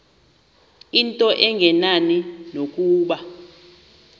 into engenani nokuba